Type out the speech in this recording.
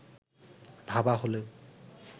ভাবা হলেও